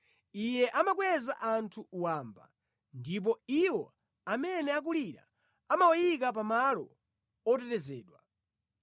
Iye amakweza anthu wamba, ndipo iwo amene akulira amawayika pa malo otetezedwa.